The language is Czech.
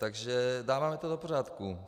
Takže dáváme to do pořádku.